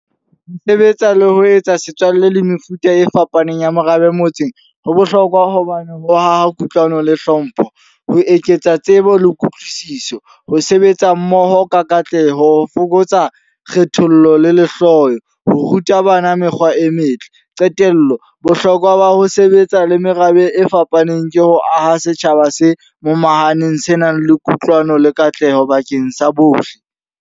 Ho sebetsa le ho etsa setswalle le mefuta e fapaneng ya merabe motseng. Ho bohlokwa hobane ho haha kutlwano le hlompho. Ho eketsa tsebo le kutlwisiso, ho sebetsa mmoho ka katleho, ho fokotsa kgethollo le lehloyo. Ho ruta bana mekgwa e metle. Qetello, bohlokwa ba ho sebetsa le merabe e fapaneng ke ho aha setjhaba se momahaneng, se nang le kutlwano le katleho bakeng sa bohle.